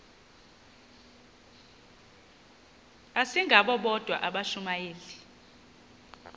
asingabo bodwa abashumayeli